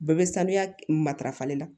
Bɛɛ bɛ sanuya matarafalen la